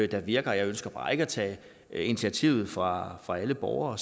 der virker jeg ønsker bare ikke at tage initiativet fra fra alle borgere